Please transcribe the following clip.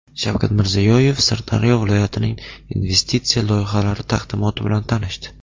Shavkat Mirziyoyev Sirdaryo viloyatining investitsiya loyihalari taqdimoti bilan tanishdi.